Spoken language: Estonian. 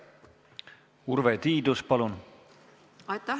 Urve Tiidus, palun!